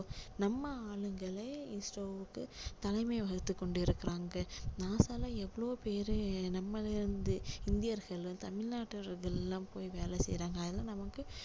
நம்ம ஆளுங்களே isro வுக்கு தலைமை வகித்து கொண்டிருக்குறாங்க NASA ல எவ்ளோ பேரு நம்ம இந்தி~இந்தியர்கள் தமிழ்நாட்டவர்கள் எல்லாம் போய் வேலை செய்யுறாங்க அதெல்லாம் நமக்கு